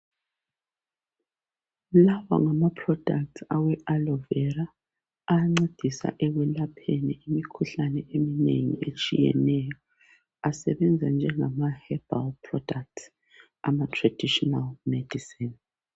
Lawa ngamaproducts awe aloe vera. Ayancedisa ekwelapheni imikhuhlane eminengi etshiyeneyo. Asebenza njengemaherbal products ,amatraditional medicine.